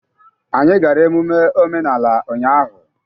Anyị gara emume omenala ụnyahụ.